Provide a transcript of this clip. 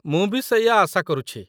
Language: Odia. ମୁଁ ବି ସେଇଆ ଆଶା କରୁଛି।